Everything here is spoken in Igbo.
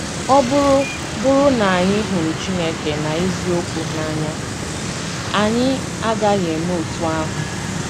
Ọ bụrụ bụrụ na anyị hụrụ Chineke na eziokwu n’anya, anyị agaghị eme otú ahụ.